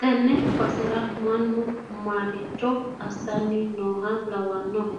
tenne basera mannu maricho assanni nooha lawannohe?